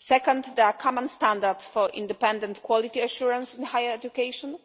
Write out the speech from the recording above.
Second, there is a common standard for independent quality assurance in higher education,